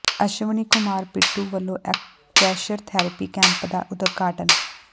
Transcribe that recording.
ਅਸ਼ਵਨੀ ਕੁਮਾਰ ਪਿੰਟੂ ਵਲੋਂ acupressure therapy camp ਦਾ ਉਦਘਾਟਨ